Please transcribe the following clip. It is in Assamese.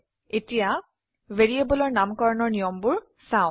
এতিয়া ভ্যাৰিয়েবলৰ নামকৰণৰ নিয়ম বোৰ চাও